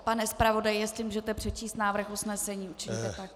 Pane zpravodaji, jestli můžete přečíst návrh usnesení, učiňte tak.